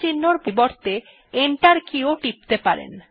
চিন্হর পরিবর্তে enter key ও টিপতে পারেন